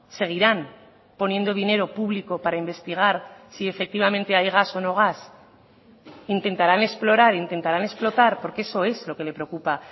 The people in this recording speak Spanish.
seguirán poniendo dinero público para investigar si efectivamente hay gas o no gas intentarán explorar intentarán explotar porque eso es lo que le preocupa